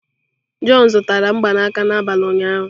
John zụtara mgbanaka n'abalị ụnyaahụ.